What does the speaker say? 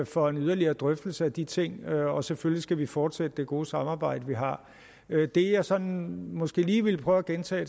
for en yderligere drøftelse af de ting og selvfølgelig skal vi fortsætte det gode samarbejde vi har det jeg sådan måske lige ville prøve at gentage